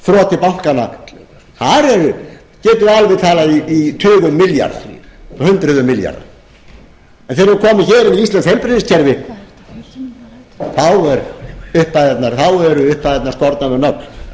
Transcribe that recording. þroti bankanna þar getum við alveg talað í tugum milljarða og hundruðum milljarða en þegar við erum komin með íslenskt heilbrigðiskerfi þá eru upphæðirnar skornar við nögl þá